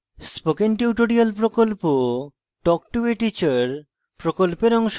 spoken tutorial প্রকল্প talk to a teacher প্রকল্পের অংশবিশেষ